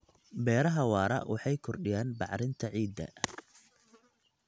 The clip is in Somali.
Beeraha waara waxay kordhiyaan bacrinta ciidda.